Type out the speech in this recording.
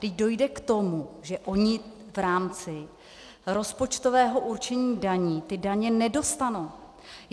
Vždyť dojde k tomu, že oni v rámci rozpočtového určení daní ty daně nedostanou.